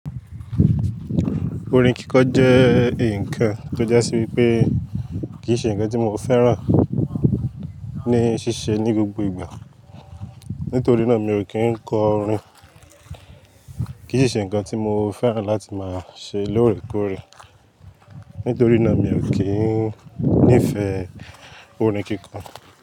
Orin kíkọ jẹ́ nǹkan tó jásí wípé kì í ṣe ǹkan tí mo fẹ́ràn ní ṣíṣe ní gbogbo ìgbà. Nítorí náà mi ò kí ń kọ orin. Kì í ṣe ǹkan tí mo fẹ́ràn láti máa ṣe lóòrèkóòrè. Nítorí náà mi ò kí ń nífẹ̀ẹ́ orin kíkọ.